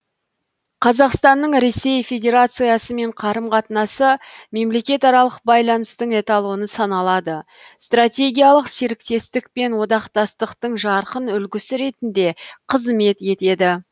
қазақстанның ресей федерациясымен қарым қатынасы мемлекетаралық байланыстың эталоны саналады стратегиялық серіктестік пен одақтастықтың жарқын үлгісі ретінде қызмет етеді